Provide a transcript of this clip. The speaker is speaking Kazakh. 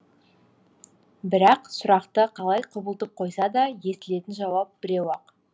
бірақ сұрақты қалай құбылтып қойса да естілетін жауап біреу ақ